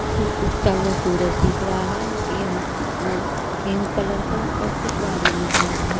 उगता हुआ सूरज दिख रहा है य वो पिंक कलर का और कुछ बादामी कलर है।